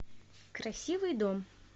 красивый дом